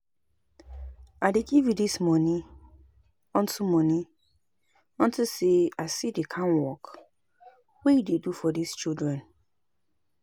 I dey give you dis money unto money unto say I see the kin work wey you dey do for dis children